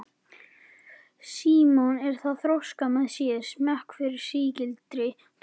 Símon er að þroska með sér smekk fyrir sígildri tónlist.